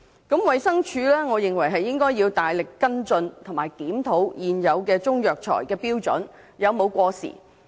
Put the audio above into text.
我認為衞生署應該大力跟進和檢討現有的中藥材標準有否過時。